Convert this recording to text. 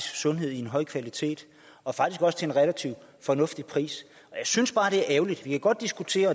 sundhed af en høj kvalitet og faktisk også til en relativt fornuftig pris jeg synes bare det er ærgerligt vi kan godt diskutere